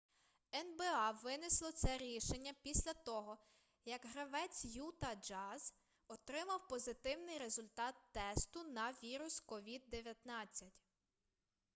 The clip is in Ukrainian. нба винесло це рішення після того як гравець юта джаз отримав позитивний результат тесту на вірус covid-19